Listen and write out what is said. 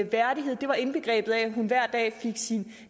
værdighed at hun hver dag fik sin